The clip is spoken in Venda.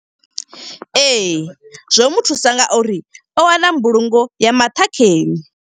Ee, zwo muthusa nga uri o wana mbulungo ya maṱhakheni.